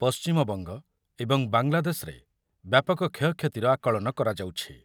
ପଶ୍ଚିମବଙ୍ଗ ଏବଂ ବାଂଲାଦେଶରେ ବ୍ୟାପକ କ୍ଷୟକ୍ଷତିର ଆକଳନ କରାଯାଉଛି ।